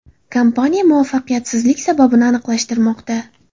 Kompaniya muvaffaqiyatsizlik sababini aniqlashtirmoqda.